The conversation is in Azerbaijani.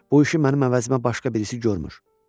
Bu işi mənim əvəzimə başqa birisi görmür.